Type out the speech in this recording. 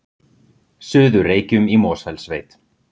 Suður-Reykjum í Mosfellssveit.